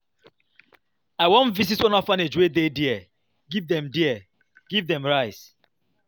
I wan go visit one orphanage wey dey there give dem there give dem rice.